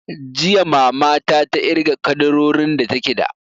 Jiya mama ta ta irga ƙaddarorin da take da